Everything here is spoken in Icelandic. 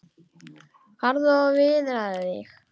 Farðu og viðraðu þig,